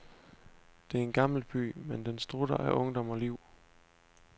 Det er en gammel by, men den strutter af ungdom og liv.